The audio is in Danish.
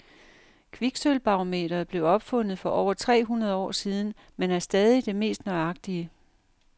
Kviksølvbarometeret blev opfundet for over tre hundrede år siden, men er stadig det mest nøjagtige.